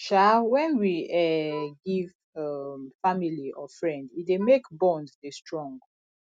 um when we um give um family or friend e dey make bond dey strong